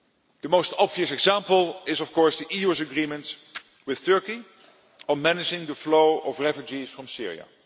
The most obvious example is, of course, the EU's agreement with Turkey on managing the flow of refugees from Syria.